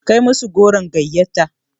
Kai musu goron gayyatar.